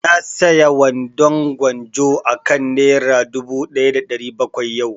Na saya wandon gwanjo akan nera dubu ɗaya da ɗari bakwai yau